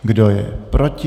Kdo je proti?